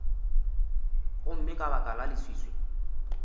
gomme ka baka la leswiswi